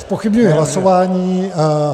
Zpochybňuji hlasování.